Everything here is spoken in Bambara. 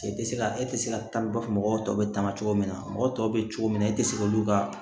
E tɛ se ka e tɛ se ka taa i b'a fɔ mɔgɔw tɔ bɛ taama cogo min na mɔgɔ tɔw bɛ cogo min na e tɛ se k'olu ka